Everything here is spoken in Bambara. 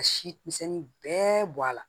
Ka si misɛnnin bɛɛ bɔ a la